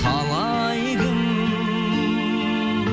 талай кім